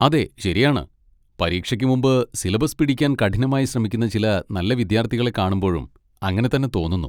അതെ, ശരിയാണ്, പരീക്ഷയ്ക്ക് മുമ്പ് സിലബസ് പിടിക്കാൻ കഠിനമായി ശ്രമിക്കുന്ന ചില നല്ല വിദ്യാർത്ഥികളെ കാണുമ്പോഴും അങ്ങനെ തന്നെ തോന്നുന്നു.